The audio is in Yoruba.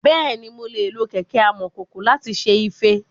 Bẹ́ẹ̀ni, mo lè lo kẹ̀kẹ́ amọ̀kòkò láti ṣe ife.